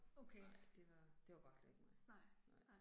Nej det var, det var bare slet ikke mig, nej